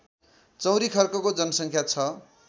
चौरीखर्कको जनसङ्ख्या छ